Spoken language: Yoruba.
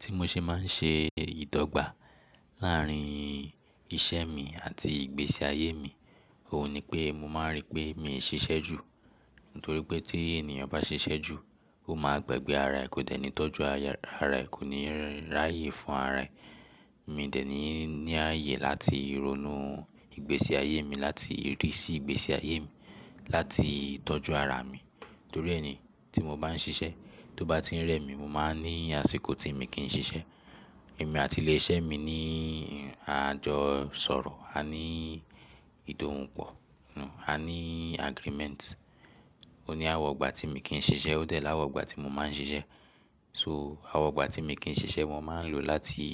Ti mo ṣe máa ń ṣe ìdọ́gba láàárín iṣẹ́ mi àti ìgbésí ayé mi, òun ni pé mo máa rí pé mi ò ṣiṣẹ́ jù. Nítorí pé tí ènìyàn bá ṣiṣẹ́ jù, ó máa gbagbẹ́ ara ẹ, kò tẹ́ni tọ́jú ara ẹ, kò ní rí ààyè fún ara ẹ. Mi ò dẹ́ni ní ààyè láti ronú ìgbésí ayé mi, láti rí sí ìgbésí ayé mi, láti tọ́jú ara mi. Torí ẹ ni tí mo bá ń ṣiṣẹ́, tó bá ti ń rẹ́ mi, mo máa ní àsìkò tí mi kì í ṣiṣẹ́. Èmi àti ilé iṣẹ́ mi ní a jọ sọ̀rọ̀, a ní ìdòhunpò, a ní agreement. Ó ní àwọn ọgbà tí mo kì í ṣiṣẹ́, ó dẹ̀ láwọn ọgbà tí mo máa ń ṣiṣẹ́. So àwọn igbà tí mo kì í ṣiṣẹ́, mo máa ń lò láti